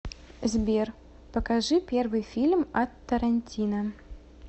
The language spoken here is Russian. сбер покажи первый фильм от тарантино